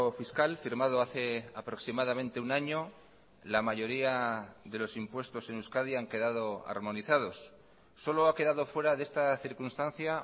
fiscal firmado hace aproximadamente un año la mayoría de los impuestos en euskadi han quedado armonizados solo ha quedado fuera de esta circunstancia